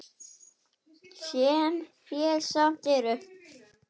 Hvað gerirðu þegar frí gefst?